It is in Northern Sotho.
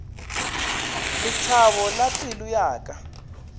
lethabo la pelo ya ka